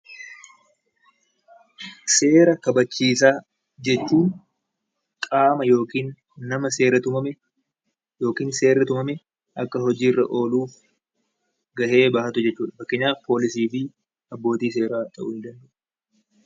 Seera kabachiisaa jechuun qaama yookiin nama seera tumame Akka hojiirra oolu gahee bahatu jechuudha. Fakkeenyaaf poolisii, abbootii seeraa ta'uu danda'a